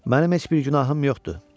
Mənim heç bir günahım yoxdur.